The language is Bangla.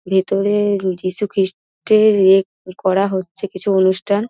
ভিতরে যিশু খ্রিষ্টের ইয়ে করা হচ্ছে কিছু অনুষ্ঠান ।